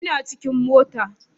Ina cikin motar